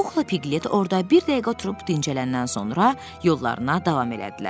Puxla Piqlet orada bir dəqiqə oturub dincələndən sonra yollarına davam elədilər.